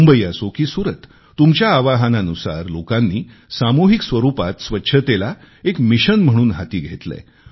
मुंबई असो की सूरत तुमच्या आवाहनानुसार लोकांनी सामूहिक स्वरूपात स्वच्छतेला एक मिशन म्हणून हाती घेतलेय